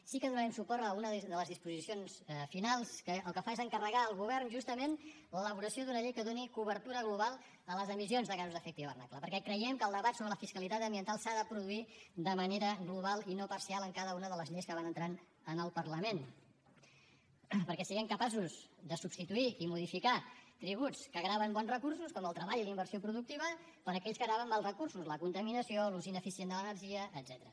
sí que donarem suport a una de les disposicions finals que el que fa és encarregar al govern justament l’elaboració d’una llei que doni cobertura global a les emissions de gasos d’efecte hivernacle perquè creiem que el debat sobre la fiscalitat ambiental s’ha de produir de manera global i no parcial en cada una de les lleis que van entrant en el parlament perquè siguem capaços de substituir i modificar tributs que graven bons recursos com el treball i la inversió productiva per aquells que graven mals recursos la contaminació l’ús ineficient de l’energia etcètera